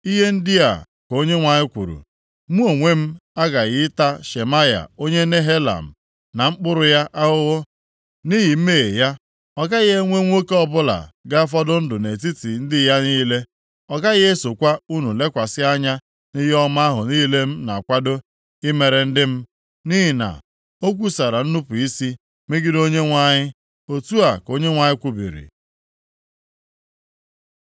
ihe ndị a ka Onyenwe anyị kwuru, Mụ onwe m aghaghị ịta Shemaya onye Nehelam na mkpụrụ ya ahụhụ nʼihi mmehie ya. Ọ gaghị enwe nwoke ọbụla ga-afọdụ ndụ nʼetiti ndị ya niile. Ọ gaghị esokwa unu lekwasị anya nʼihe ọma ahụ niile m na-akwado imere ndị m, nʼihi na o kwusara nnupu isi megide Onyenwe anyị. Otu a ka Onyenwe anyị kwubiri.’ ”